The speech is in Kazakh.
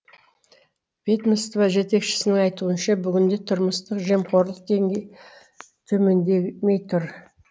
ведомство жетекшісінің айтуынша бүгінде тұрмыстық жемқорлық деңгейі төмендемей тұр